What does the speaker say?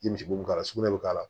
I misi bo k'a la sugunɛ bi k'a la